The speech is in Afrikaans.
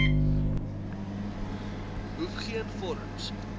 hoef geen vorms